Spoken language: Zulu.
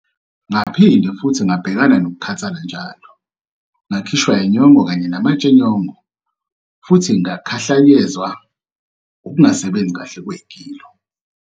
Ngaphinde futhi ngabhekana nokukhathala njalo, ngakhishwa inyongo kanye namatshe enyongo futhi ngakhahlanyezwa ukungasebenzi kahle kwegilo.